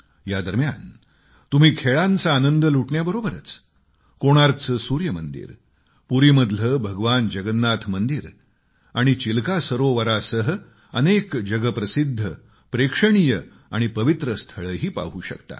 या दरम्यान तुम्ही खेळाचा आनंद लुटण्याबरोबरच कोणार्कचे सूर्य मंदिर पुरीमधले भगवान जगन्नाथ मंदिर आणि चिलका सरोवरासह अनेक जगप्रसिद्ध प्रेक्षणीय आणि पवित्र स्थळंही पाहू शकता